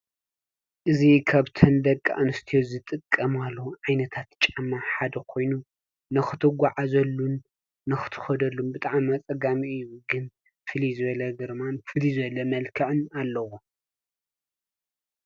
እዚ ካብተን ደቂ ኣንስትዮ ዝጥቀማሉ ዓይነታት ጫማ ሓደ ኮይኑ ንኽትጓዓዘሉን ንኽትከደሉን ብጣዕሚ ኣፀጋሚ እዩ። ግን ፍልይ ዝበለ ግርማን ፍልይ መልክዕን ኣለዎ።